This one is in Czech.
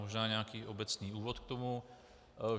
Možná nějaký obecný úvod k tomu.